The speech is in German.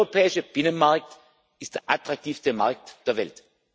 Der europäische Binnenmarkt ist der attraktivste Markt der Welt.